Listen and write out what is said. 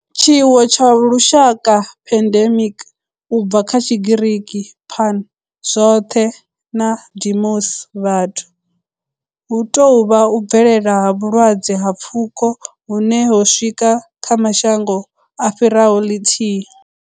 Tshiwo tsha lushaka, pandemic, u bva kha Tshigiriki pan, zwothe' na demos, vhathu, hu tou vha u bvelela ha vhulwadze ha pfuko hune ho swika kha mashango a fhiraho lithihi.